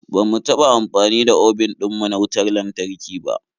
Ba mu taɓa amfani da obin ɗin mu na wautar lantarki ba.